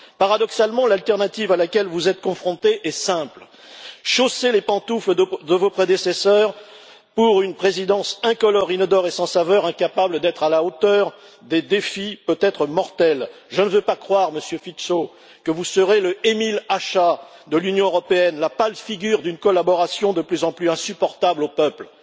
Paradoxalement, l'alternative à laquelle vous êtes confronté est simple chausser les pantoufles de vos prédécesseurs pour une présidence incolore, inodore et sans saveur, incapable d'être à la hauteur des défis, peut être mortels je ne veux pas croire, Monsieur Fico, que vous serez l'Emil Hácha de l'Union européenne, la pâle figure d'une collaboration de plus en plus insupportable aux peuples